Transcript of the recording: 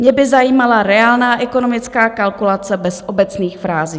Mě by zajímala reálná ekonomická kalkulace bez obecných frází.